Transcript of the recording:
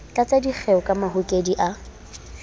tlatsa dikgeo ka mahokedi a